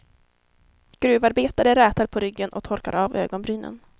Gruvarbetare rätar på ryggen och torkar av ögonbrynen.